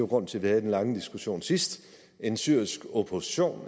grunden til at vi havde den lange diskussion sidst en syrisk opposition